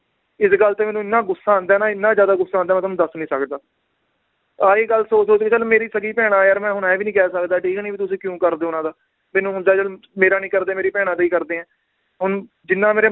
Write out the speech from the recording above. ਇਸ ਗੱਲ ਤੇ ਮੈਨੂੰ ਇਹਨਾਂ ਗੁੱਸਾ ਆਂਦਾ ਹੈ ਨਾ ਇੰਨਾ ਜ਼ਿਆਦਾ ਗੁੱਸਾ ਆਂਦਾ ਏ ਮੈ ਤੁਹਾਨੂੰ ਦਸ ਨੀ ਸਕਦਾ ਆਹੀ ਗੱਲ ਸੋਚ ਸੋਚ ਕੇ ਚੱਲ ਮੇਰੀ ਸਗੀ ਭੈਣਾਂ ਯਾਰ ਮੈ ਹੁਣ ਇਹ ਵੀ ਨੀ ਕਹਿ ਸਕਦਾ ਠੀਕ ਨੀ ਵੀ ਤੁਸੀਂ ਕਿਉਂ ਕਰਦੇ ਓ ਉਹਨਾਂ ਦਾ, ਮੈਨੂੰ ਹੁੰਦਾ ਚੱਲ ਮੇਰਾ ਨੀ ਕਰਦੇ ਮੇਰੀ ਭੈਣਾਂ ਦਾ ਈ ਕਰਦੇ ਏ ਹੁਣ ਜਿਨਾਂ ਮੇਰੇ